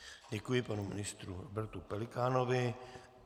Děkuji panu ministru Robertu Pelikánovi.